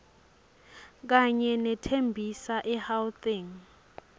kanye nethembisa egauteng